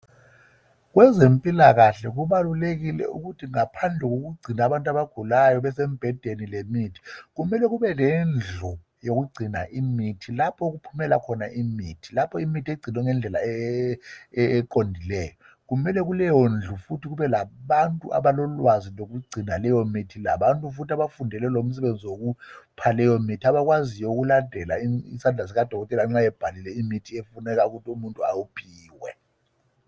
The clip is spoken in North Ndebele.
Kwezempilakahle kubalulekile ukuthi ngaphandle kokugcina abantu abagulayo besembhedeni lemithi kumelee kube lendlu lapho okugcinwa khona imithi lapho okuphumela khona imithi lapho imithi egcinwe ngendlela eqondileyo kumele kuleyo ndlu futhi kube labantu abalolwazi lokugcina leyomithi labantu futhi abafundele lomsebenzi wokupha leyomithi abakwaziyo ukulandela isandla sikadokotela nxa ebhalile imithi efuneka ukuthi umuntu awuphiwe